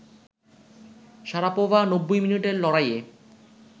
Sharapova ৯০ মিনিটের লড়াইয়ে